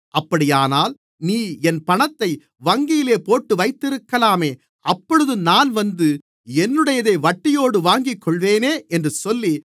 அப்படியானால் நீ என் பணத்தை வங்கியிலே போட்டுவைத்திருக்கலாமே அப்பொழுது நான் வந்து என்னுடையதை வட்டியோடு வாங்கிக்கொள்ளுவேனே என்று சொல்லி